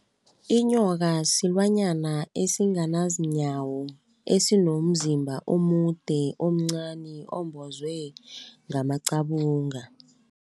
Inyoka silwanyana esinganazinyawo esinomzimba omude, omncani umbozwe ngamacabunga.